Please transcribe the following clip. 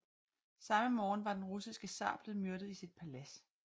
Samme morgen var den russiske zar blevet myrdet i sit palads i St